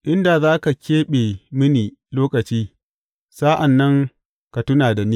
In da za ka keɓe mini lokaci sa’an nan ka tuna da ni!